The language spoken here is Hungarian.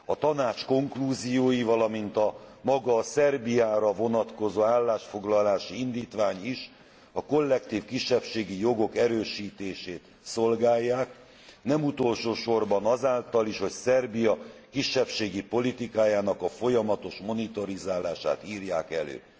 A Tanács konklúziói, valamint maga a Szerbiára vonatkozó állásfoglalási indítvány is a kollektív kisebbségi jogok erősítését szolgálják, nem utolsósorban azáltal is, hogy Szerbia kisebbségi politikájának a folyamatos monitorozását írják elő.